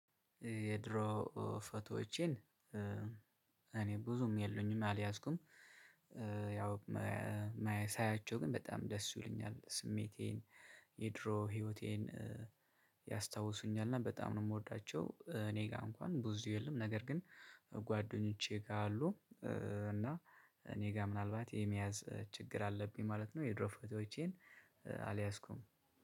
የድሮ ፎቶዎቼን እኔ ብዙም የሉኝም አልያዝኩም ያው ሳያቸው ግን በጣም ደስ ይሉኛል። ስሜቴ፣ የድሮ ህይወቴን እና በጣም ነው የምወዳቸው እኔ ጋር እንኳን ብዙ የሉም ነገር ግን ጓደኞቼ ጋር አሉ እና እኔ ጋር ምናልባት የመያዝ ችግር አለብኝ ማለት ነው የድሮ ፎቶዎቼን አልያስኩም።